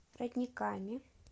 родниками